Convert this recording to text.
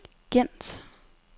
Gent